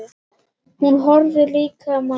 Hún horfði á líkama hans.